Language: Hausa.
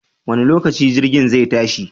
Wanne lokaci jirgin zai tashi?